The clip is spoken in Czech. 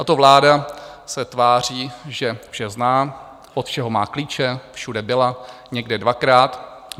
Tato vláda se tváří, že vše zná, od všeho má klíče, všude byla, někde dvakrát.